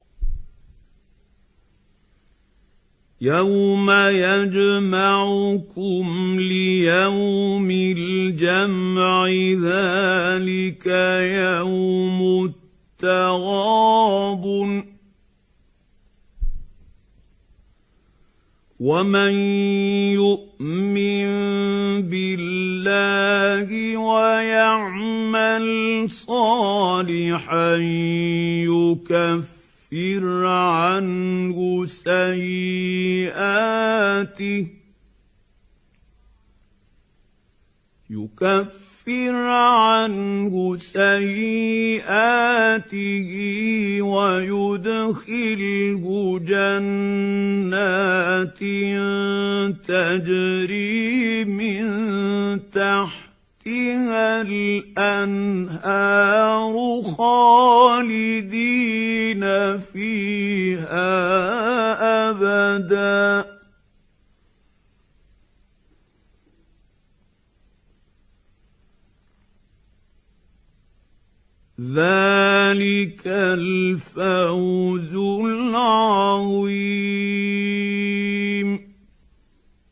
يَوْمَ يَجْمَعُكُمْ لِيَوْمِ الْجَمْعِ ۖ ذَٰلِكَ يَوْمُ التَّغَابُنِ ۗ وَمَن يُؤْمِن بِاللَّهِ وَيَعْمَلْ صَالِحًا يُكَفِّرْ عَنْهُ سَيِّئَاتِهِ وَيُدْخِلْهُ جَنَّاتٍ تَجْرِي مِن تَحْتِهَا الْأَنْهَارُ خَالِدِينَ فِيهَا أَبَدًا ۚ ذَٰلِكَ الْفَوْزُ الْعَظِيمُ